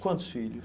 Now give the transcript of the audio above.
Quantos filhos?